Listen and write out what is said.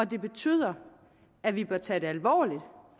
det betyder at vi bør tage det alvorligt